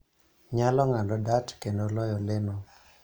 nyalo ng�ado dart kendo loyo leno.